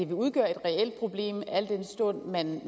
udgøre et reelt problem al den stund man